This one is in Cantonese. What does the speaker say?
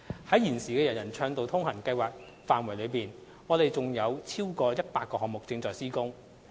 在現時的"人人暢道通行"計劃範圍內，我們仍有逾100個項目正在施工。